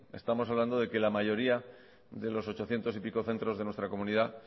estamos hablando de que la mayoría de los ochocientos y pico centros de nuestra comunidad